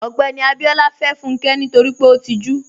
Ogbẹ́ni Abíọlá fẹ́ Fúnkẹ́ nítorí pé ó tìjú.